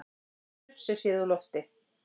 Surtsey séð úr lofti.